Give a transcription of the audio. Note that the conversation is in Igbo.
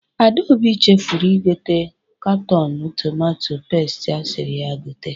Adaobi chefuru igote katọnụ tometo pesti asịrị ya gote.